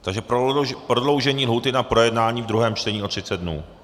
Takže prodloužení lhůty na projednání ve druhém čtení o 30 dnů.